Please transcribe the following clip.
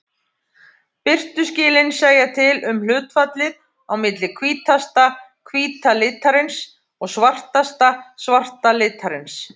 Birtuskilin segja til um hlutfallið á milli hvítasta hvíta litarins og svartasta svarta litarins.